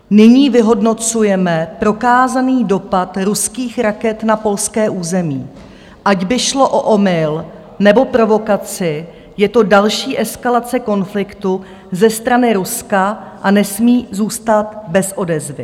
Nyní vyhodnocujeme prokázaný dopad ruských raket na polské území, ať by šlo o omyl, nebo provokaci, je to další eskalace konfliktu ze strany Ruska a nesmí zůstat bez odezvy."